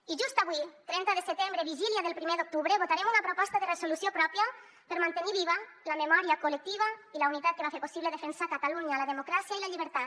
i just avui trenta de setembre vigília del primer d’octubre votarem una proposta de resolució pròpia per mantenir viva la memòria col·lectiva i la unitat que va fer possible defensar catalunya la democràcia i la llibertat